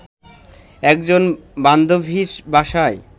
একজন বান্ধবীর বাসায়